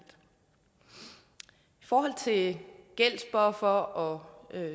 forhold til gældsbuffere og